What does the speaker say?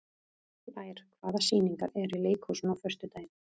Blær, hvaða sýningar eru í leikhúsinu á föstudaginn?